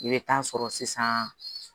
I bɛ taa sɔrɔ sisan